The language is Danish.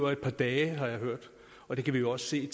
af et par dage har jeg hørt og det kan vi jo også se